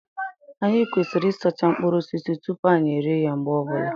Anyị kwesịrị ịsacha mkpụrụ osisi tupu anyị erie ya mgbe ọbụla